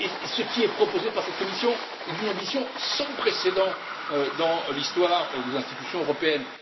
Ce qui est proposé par cette Commission est d'une ambition sans précédent dans l'histoire des institutions européennes.